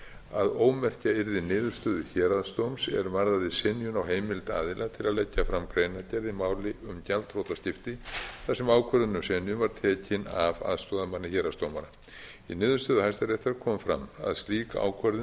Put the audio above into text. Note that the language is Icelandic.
að ómerkja yrði niðurstöðu héraðsdóms er varðaði synjun á heimild aðila til að leggja fram greinargerð í máli um gjaldþrotaskipti þar sem ákvörðun um synjun var tekin af aðstoðarmanni héraðsdómara í niðurstöðu hæstaréttar kom fram að slík ákvörðun